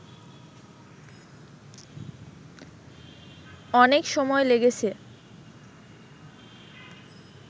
অনেক সময় লেগেছে